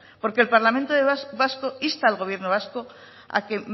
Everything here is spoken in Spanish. porque el parlamento vasco insta al gobierno vasco a que